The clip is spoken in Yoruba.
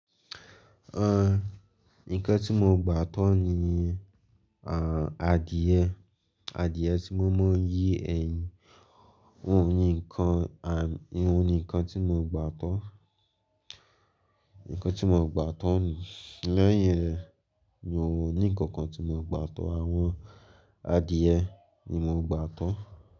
Nǹkan tí mo gba tán ni, à, adìẹ, adìẹ tí mo máa ń yí ẹyin. Ohun ni nǹkan, à, ohun ni nǹkan tí mo gba tán. Nǹkan tí mo gba tán ni, lẹ́yìn rẹ̀ mi ò ní nkan kan tí mo gba tán. Àwọn adìẹ ni mo gba tán.